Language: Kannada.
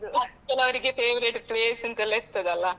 ಕೆಲವರಿಗೆ favorite place ಅಂತ ಎಲ್ಲ ಇರ್ತದೆ ಅಲಾ.